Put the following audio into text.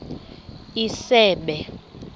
isebe